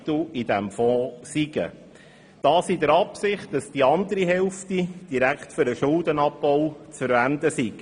Er tat dies entgegen der Auffassung der Regierung in der Absicht, dass die andere Hälfte direkt für den Schuldenabbau zu verwenden sei.